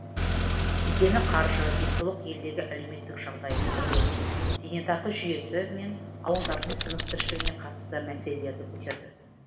дені қаржы денсаулық елдегі әлеуметтік жағдай құрылыс зейнетақы жүйесі мен ауылдардың тыныс тіршілігіне қатысты мәселелерді көтерді